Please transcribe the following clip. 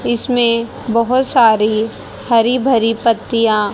इसमें बहोत सारी हरि भरी पत्तियां--